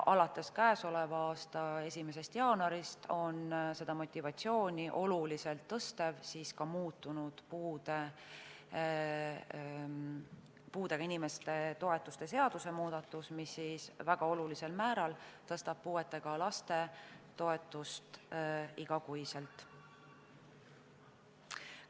Alates k.a 1. jaanuarist on seda motivatsiooni oluliselt suurendanud ka muutunud puudega inimeste toetusi käsitleva seaduse muudatus, mis väga olulisel määral tõstab puudega laste igakuist toetust.